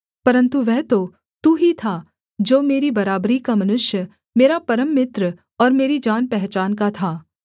परन्तु वह तो तू ही था जो मेरी बराबरी का मनुष्य मेरा परम मित्र और मेरी जानपहचान का था